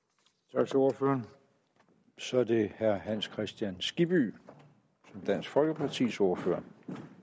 tak til ordføreren så er det herre hans kristian skibby som dansk folkepartis ordfører